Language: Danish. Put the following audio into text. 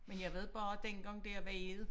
Men jeg ved bare dengang det har været